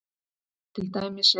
Til dæmis eru